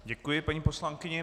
Děkuji paní poslankyni.